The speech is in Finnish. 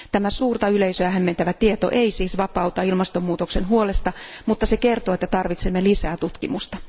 Tämä suurta yleisöä hämmentävä tieto ei siis vapauta ilmastonmuutoksen huolesta, mutta se kertoo, että tarvitsemme lisää tutkimusta.